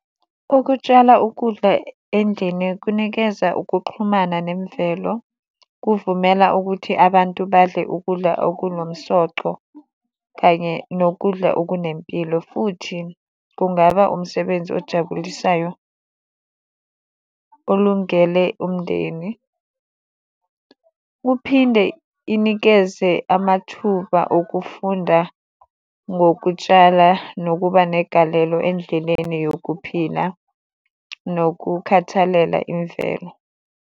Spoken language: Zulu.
Ukutshala ukudla endlini kunikeza ukuxhumana nemvelo kuvumela ukuthi abantu badle ukudla okunomsoco kanye nokudla okunempilo. Futhi kungaba umsebenzi ojabulisayo olungele umndeni kuphinde inikeze amathuba okufunda ngokutshala nokuba negalelo endleleni yokuphila nokukhathalela imvelo.